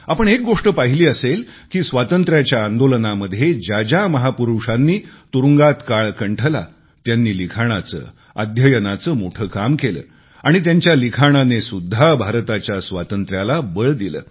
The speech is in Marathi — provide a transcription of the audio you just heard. आपण एक गोष्ट पाहिली असेल की स्वातंत्र्याच्या आंदोलनामध्ये ज्या ज्या महापुरुषांनी तुरुंगात काळ कंठला त्यांनी लिखाणाचे अध्ययनाचे मोठे काम केले आणि त्यांच्या लिखाणानेसुद्धा भारताच्या स्वातंत्र्याला बळ दिले